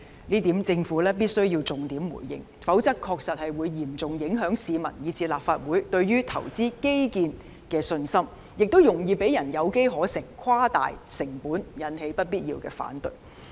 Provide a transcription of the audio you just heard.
這點政府必須重點回應，否則會嚴重影響市民和立法會對於投資基建的信心，亦容易讓人有機可乘，誇大成本，引起不必要的反對。